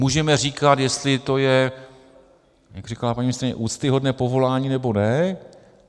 Můžeme říkat, jestli to je, jak říkala paní ministryně, úctyhodné povolání, nebo ne.